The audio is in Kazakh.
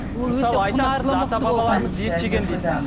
ет жеген дейсіз